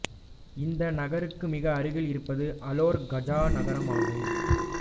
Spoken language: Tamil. இந்த நகருக்கு மிக அருகில் இருப்பது அலோர் காஜா நகரமாகும்